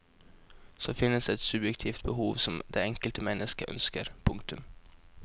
Så finnes et subjektivt behov som det enkelte mennesket ønsker. punktum